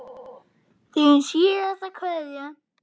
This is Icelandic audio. Þín síðasta kveðja.